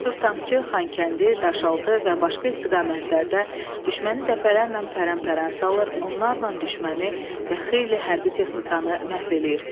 Cəsur tankçı Xankəndi, Daşaltı və başqa istiqamətlərdə düşməni dəfələrlə pərən-pərən salır, onlarla düşməni və xeyli hərbi texnikanı məhv eləyir.